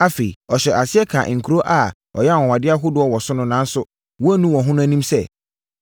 Afei, ɔhyɛɛ aseɛ kaa nkuro a ɔyɛɛ anwanwadeɛ ahodoɔ wɔ hɔ nanso wɔannu wɔn ho no anim sɛ,